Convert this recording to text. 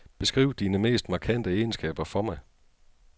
Beskriv dine mest markante egenskaber for mig.